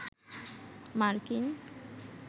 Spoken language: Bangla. মার্কিন